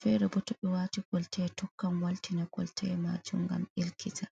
feere boo to ɓe wayti kolta tokkan waltina kolta maajum ngam ɗelkita.